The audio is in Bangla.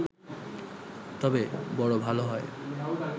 তবে বড় ভালো হয়